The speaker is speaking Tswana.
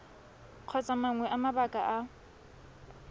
kgotsa mangwe a mabaka a